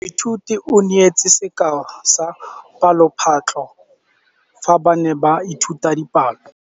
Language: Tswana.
Moithuti o neetse sekaô sa palophatlo fa ba ne ba ithuta dipalo.